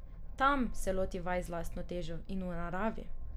Tam se loti vaj z lastno težo in v naravi.